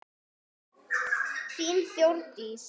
Þín Þórdís.